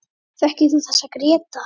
Þekkir þú þessa, Gréta?